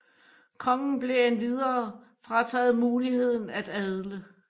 Kongen blev endvidere frataget muligheden at adle